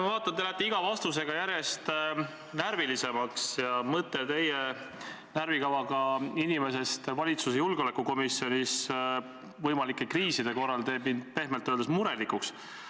Ma vaatan, te lähete iga vastusega järjest närvilisemaks, ja mõte teie närvikavaga inimesest valitsuse julgeolekukomisjonis võimalike kriiside korral teeb mind pehmelt öeldes murelikuks.